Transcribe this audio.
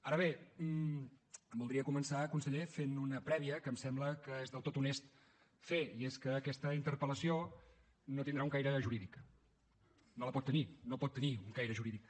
ara bé voldria començar conseller fent una prèvia que em sembla que és del tot honest fer i és que aquesta interpel·lació no tindrà un caire jurídic no el pot tenir no pot tenir un caire jurídic